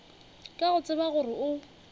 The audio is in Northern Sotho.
ka go tseba gore o